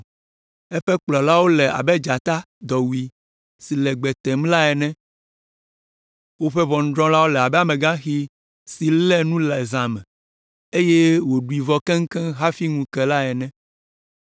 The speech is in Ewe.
Eƒe kplɔlawo le abe dzata dɔwui si le gbe tem la ene. Woƒe ʋɔnudrɔ̃lawo le abe amegaxi si lé nu le zã me, eye wòɖui vɔ keŋ hafi ŋu ke la ene.